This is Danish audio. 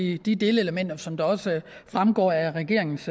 i de delelementer som også fremgår af regeringens